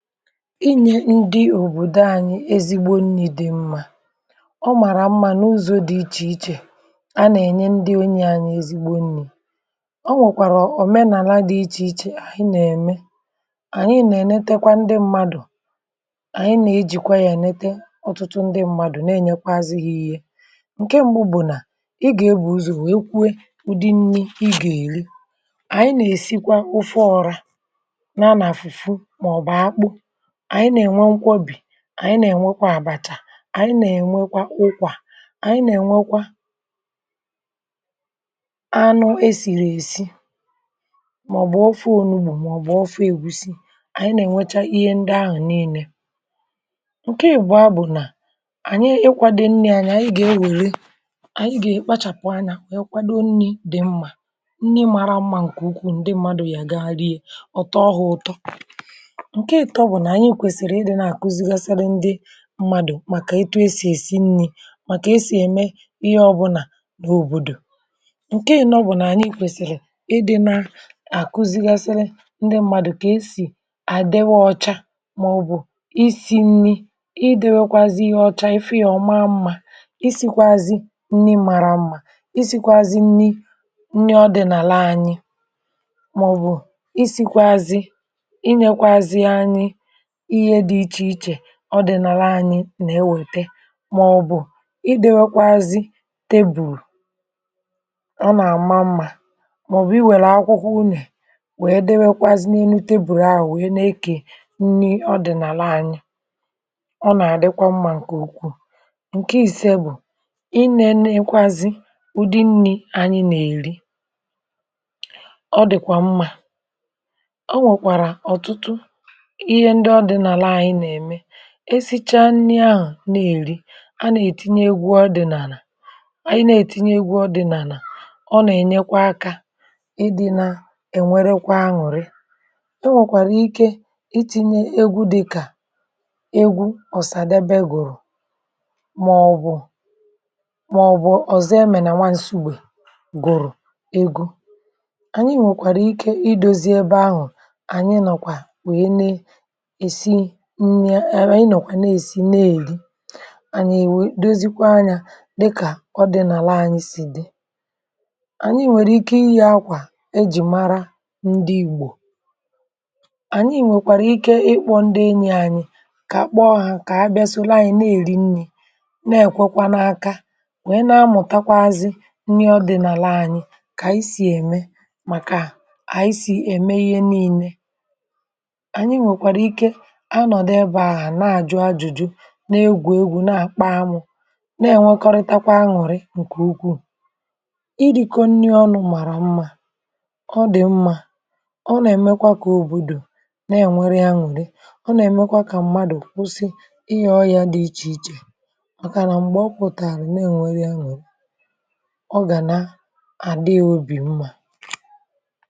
Inyė ndi òbòdo anyị ezigbo nni̇ dị̇ mmȧ. ọ màrà mmȧ n’ụzọ̇ dị̇ ichè ichè, a nà-ènye ndi enyi anyị̇ ezigbo nni̇, ọ nwèkwàrà ọ̀menàla dị̇ ichè ichè ànyị nà-ème, ànyị nà-ènetekwa ndi mmadụ̀, ànyị nà-ejìkwa yȧ enete ọtụtụ ndi mmadụ̀ na-enyekwazi ha ihe, ǹke mbụ bu nà ị gà-ebùzò wee kwuo ụdị nni̇ ị gà-èri, ànyị nà-èsikwa ufe ọrȧ, nya na foofoo maọbụ akpụ, ànyị nà-ènwekwa nkwobi, ànyị nà-ènwekwa àbàchà, ànyị nà-ènwekwa ụkwà, ànyị nà-ènwekwa anụ esìrì èsi màọbụ̀ ọfụ onugbù màọbụ̀ ọfụ egwusi, ànyị nà-ènwecha ihe ndị ahụ̀ niine, ǹke ìbua bụ̀ nà, ànyị ịkwȧdɪ nni anyị, anyị gà-enwère ànyị gà-èkpachàpụ anyà wee kwa kwado nni̇ dị̀ mmà, nni mara mmȧ ǹkè ukwu ǹdị mmadù yà ga-rịe ọ̀ tọọhụ ụ̀tọ, nke ịtọ bụ na anyị kwesịrị ịdị na akụzi asị ndị mmadụ̀ màkà etu e sì èsi nni̇ màkà e sì ème ihe ọbụ̇nà nà òbòdò. Nkẹ ịnọ bụ̇ nà ànyị kwèsìrì idi na-àkụzi̇gasịlị ndị mmadụ̀ kà esì àdiwa ọcha màọbụ̀ isi nni̇, i dewekwazị ihe ọcha ị fụ yȧ ọma mmȧ, i sìkwazị nni màrà mmȧ, i sìkwazị nni̇ nni ọdìnàla anyị, maọbụ sikwazi inyekwazi anyị ihe di iche iche ihe ọdị̀nàlà anyị̇ nà-ewète màọ̀bụ̀ ịdị̇wakwazị tebùl, ọ nà-àma mmȧ màọ̀bụ̀ iwèrè akwụkwọ unè wèe dewekwazị n’elu tebùl ahụ̀ wèe na-ekè nni ọdị̀nàla anyị, ọ nà-àdịkwa mmȧ ǹkè ukwuu, ǹke ìse bụ̀, ị nėenekwazị ụ̀dị nni̇ ànyị nà-èri, ọ dị̀kwa mmȧ, onwere ọtụtụ ihe ndị ọdịnala anyị na-eme, esicha nni ahụ̀ na-èri, anà ètinye egwu ọdị̀n’ànà, anyi nà ètinye egwu ọdị̀nànà, ọ nà-ènyekwa akȧ ịdị̇ nà-ènwerekwa anụ̀rị, e nwèkwàrà ike itinye egwu dịkà egwu Osàdebe gùrù màọbụ̀ màọbụ̀ Ozọemenà nwà Nsugbè gùrù, egwu ànyi nwèkwàrà ike ị dozie ebe anụ̀ ànyi nọ̀kwà wèe nè a nà-nọ̀kwa nà-èsi nni nà-èri, ànyị èwe dozikwa anyȧ dịkà ọdi̇nàla anyị si dị, ànyị nwẹ̀rẹ̀ ike inyi akwà ẹjị̀ mara ndi ìgbò, ànyị ǹwèkwàrà ike ịkpọ̇ ndi enyị̇ anyị kà kpọọ hà kà ha bịasoro anyị̇ nà-ẹkwẹkwa n’aka, nwee na-amụ̀takwazi nri ọdìnàla ànyị kà isi̇ ème màkà ànyị si ème ihe nii̇nẹ, anyị nwerekwara ike ha nọ̀dị ebe ahụ̀ nà àjụ ajụjụ, nȧ egwù egwù nà àkpa amụ̇, nà ẹ̀nwẹkọrịtàkwa aṅụ̀rị ǹkè ukwuù, ịri̇kọ ǹni ọnụ̇ màrà mmȧ, ọ dị̀ mmȧ, ọ nà ẹ̀mẹkwa kà òbòdò nà ẹ̀nwẹrẹ aṅụ̀rị, ọ nà ẹ̀mẹkwa kà .mmadù kwụsị ịya ọyà dị ịchà ịchà màkà nà m̀gbè ọ pụ̀tàrà nà ẹ̀nwẹrẹ aṅụrị, ọ gà nà àdị ya obì mmȧ.